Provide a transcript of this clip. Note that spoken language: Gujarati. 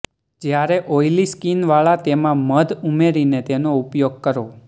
જ્યારે ઓઇલી સ્કિન વાળા તેમા મધ ઉમેરીને તેનો ઉપયોગ કરો